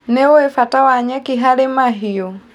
Nĩũĩ bata wa nyeki harĩ mahiũ.